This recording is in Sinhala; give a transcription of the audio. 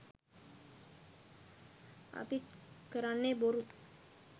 අපිත් කරන්නෙ බොරු